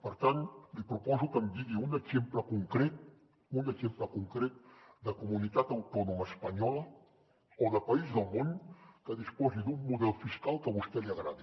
per tant li proposo que em digui un exemple concret un exemple concret de comunitat autònoma espanyola o de país del món que disposi d’un model fiscal que a vostè li agradi